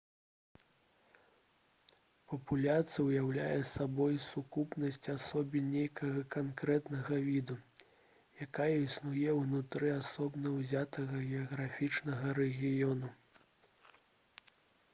папуляцыя ўяўляе сабой сукупнасць асобін нейкага канкрэтнага віду якая існуе ўнутры асобна ўзятага геаграфічнага рэгіёну